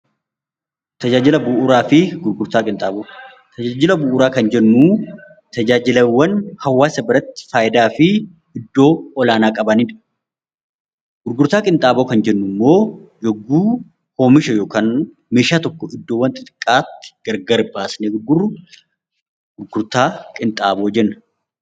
Tajaajila bu'uuraa kan jennu tajaajilawwan hawaasa biratti faayidaa fi iddoo olaanaa qabanidha. Gurgurtaa qinxaaboo kan jennu immoo yogguu oomisha yookaan immoo meeshaa tokko iddoowwan xixiqqaatti gargar baasnee gurgurru gurgurtaa qinxaaboo jenna.